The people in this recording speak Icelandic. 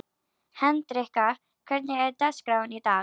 Hendrikka, hvernig er dagskráin í dag?